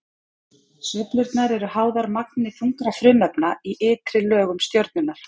Sveiflurnar eru háðar magni þungra frumefna í ytri lögum stjörnunnar.